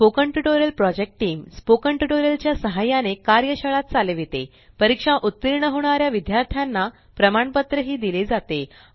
spoken tutorial project team spoken tutorial च्या सहाय्याने कार्यशाळा चालवितेपरीक्षेत उत्तीर्ण होणाऱ्या विद्यार्थ्यांना प्रमाणपत्र दिले जाते